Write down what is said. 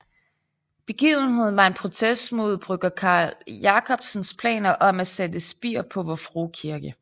Begivenheden var en protest mod brygger Carl Jacobsens planer om at sætte spir på Vor Frue Kirke